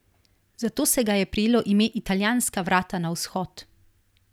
Zato se ga je prijelo ime italijanska vrata na vzhod.